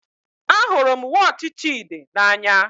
Ahụrụ m wọọchi Chidi n'anya